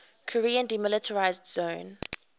korean demilitarized zone